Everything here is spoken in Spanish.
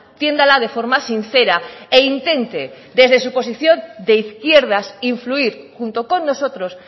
tiéndala de forma sincera e intente desde su posición de izquierdas influir junto con nosotros